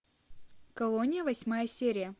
колония восьмая серия